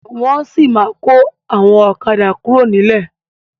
Wọn sì ma kọ àwọn ọ̀kadà kuro nilẹ.